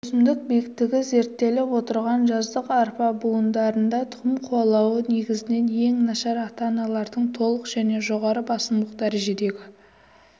өсімдік биіктігі зерттеліп отырған жаздық арпа будандарында тұқым қуалауы негізінен ең нашар ата-аналардың толық және жоғары басымдылық дәрежедегі